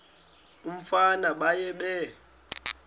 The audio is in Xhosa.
umfana baye bee